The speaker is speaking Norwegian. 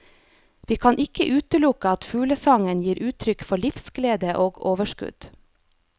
Vi kan ikke utelukke at fuglesangen gir uttrykk for livsglede og overskudd.